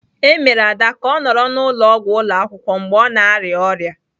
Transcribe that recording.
E mere Ada ka ọ nọrọ n'ụlọọgwụ ụlọ akwụkwọ mgbe ọ na-arịa ọrịa